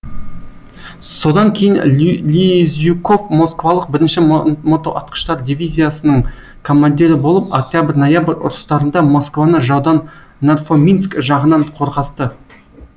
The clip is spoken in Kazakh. содан кейін лизюков москвалық бірінші мотоатқыштар дивизиясының командирі болып октябрь ноябрь ұрыстарында москваны жаудан нарфоминск жағынан қорғасты